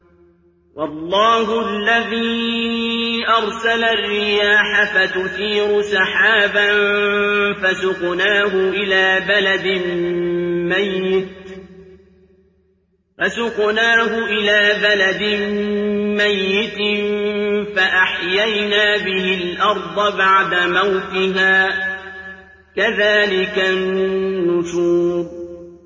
وَاللَّهُ الَّذِي أَرْسَلَ الرِّيَاحَ فَتُثِيرُ سَحَابًا فَسُقْنَاهُ إِلَىٰ بَلَدٍ مَّيِّتٍ فَأَحْيَيْنَا بِهِ الْأَرْضَ بَعْدَ مَوْتِهَا ۚ كَذَٰلِكَ النُّشُورُ